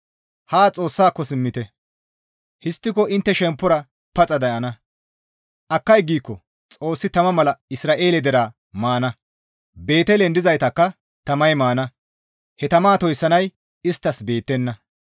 Haa Xoossaako simmite; histtiko intte shemppora paxa de7ana; akkay giikko Xoossi tama mala Isra7eele deraa maana; Beetelen dizaytakka tamay maana; he tama toyssanay isttas beettenna.